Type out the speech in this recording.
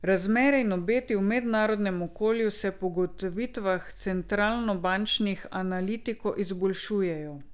Razmere in obeti v mednarodnem okolju se po ugotovitvah centralnobančnih analitikov izboljšujejo.